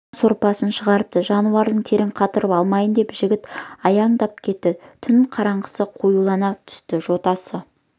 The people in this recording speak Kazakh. қан сорпасын шығарыпты жануардың тер қатырып алмайын деп жіті аяңдап кетті түн қараңғысы қоюлана түсті жотасы